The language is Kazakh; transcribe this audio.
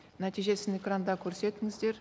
нәтижесін экранда көрсетіңіздер